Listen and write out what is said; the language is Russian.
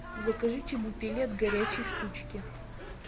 закажи чебупели от горячей штучки